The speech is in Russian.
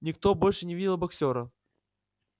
никто больше не видел боксёра